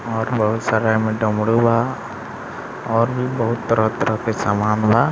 और बहुत सारा एमे डमरू बा और भी बहुत तरह-तरह के समान बा।